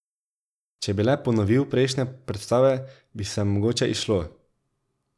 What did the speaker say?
Če bi le ponovil prejšnje predstave, bi se mogoče izšlo.